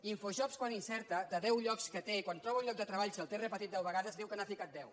infojobs quan insereix de deu llocs que té quan troba un lloc de treball si el té repetit deu vegades diu que n’ha ficat deu